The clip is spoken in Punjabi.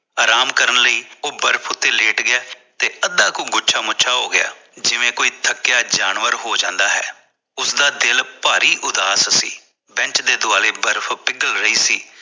ਆਰਾਮ ਕਰਨ ਲਈ ਉਹ ਬਰਫ਼ ਉੱਤੇ ਲੇਟ ਗਿਆ ਤੇ ਅਦਾ ਕੁ ਗੁੱਛਾ ਮੁੱਛਾਂ ਹੋਗਿਆ ਜਿਵੇਂ ਕੋਈ ਥਕਿਆ ਜਾਨਵਰ ਹੋ ਜਾਂਦਾ ਹੈ ਉਸਦਾ ਦਿਲ ਪਾਰੀ ਉਦਾਸ ਸੀ Bench ਦੇ ਦੁਆਲੇ ਬਰਫ਼ ਪਿਗਲ ਰਹੀ ਸੀ